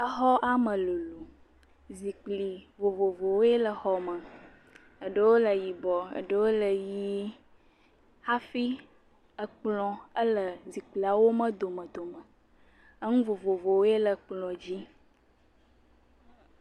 Exɔ, eme lolo. Zikpi vovovowo le xɔme. Eɖewo le yibɔɔ eɖewo le ʋii. Eye ekplɔ̃ ele zikpiawo me domedome. Eŋu vovovowoe le kplɔ̃dzi.